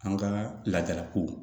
An ka laadalakow